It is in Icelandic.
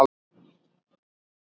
Þar er hlýtt árið um kring.